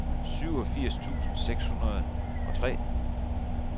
syvogfirs tusind seks hundrede og tre